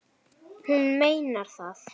Hún meinar það.